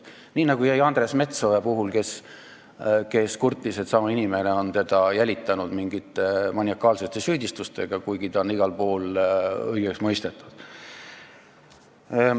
Nii nagu juhtus Andres Metsoja sõnavõtu puhul, kes kurtis, et sama inimene on teda jälitanud mingite maniakaalsete süüdistustega, kuigi ta on igal pool õigeks mõistetud.